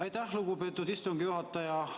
Aitäh, lugupeetud istungi juhataja!